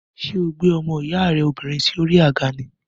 Ṣé o gbé ọmọ ìyá rẹ obìnrin sí orí àga ni?